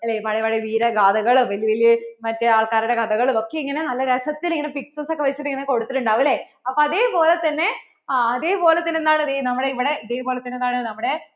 അല്ലേ പഴയ പഴയ വീര ഗാഥകളും വെല്യ വെല്യ മറ്റേ ആൾക്കാരെ കഥകളും ഒക്കേ ഇങ്ങനെ നല്ല രസത്തിൽ ഇങ്ങനെ pictures ഒക്കെ വെച്ചിട്ട് ഇങ്ങനെ കൊടുത്തിട്ടുണ്ടാവും അല്ലേ അപ്പോൾ അതേപോലെ തന്നേ ആ അതേപോലെ തന്നേ എന്താണ് നമ്മടെ ദേ ഇവിടെ അതേപോലെ തന്നേ